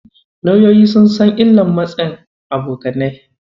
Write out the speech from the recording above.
Lauyoyi sun san illar matsin abokanai.